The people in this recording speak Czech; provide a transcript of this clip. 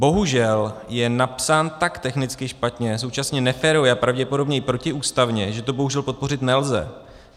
Bohužel je napsán tak technicky špatně, současně neférově a pravděpodobně i protiústavně, že to bohužel podpořit nelze.